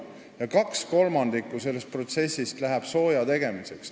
Ja 2/3 sellest protsessist läheb sooja tegemiseks.